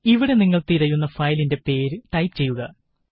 ഇവിടെ നിങ്ങള് തിരയുന്ന ഫയലിന്റെ പേര് ടൈപ് ചെയ്യുക